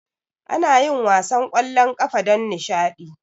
Anayin wasan kwallon kafa don nishadi